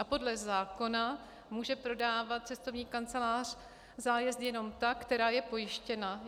A podle zákona může prodávat cestovní kancelář zájezdy jenom ta, která je pojištěna.